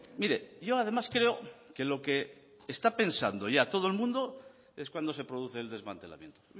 mire yo además creo que lo que está pensando ya todo el mundo es cuándo se produce el desmantelamiento